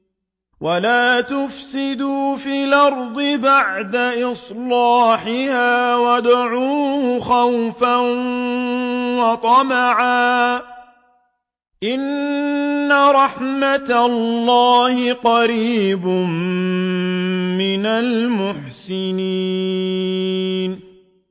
وَلَا تُفْسِدُوا فِي الْأَرْضِ بَعْدَ إِصْلَاحِهَا وَادْعُوهُ خَوْفًا وَطَمَعًا ۚ إِنَّ رَحْمَتَ اللَّهِ قَرِيبٌ مِّنَ الْمُحْسِنِينَ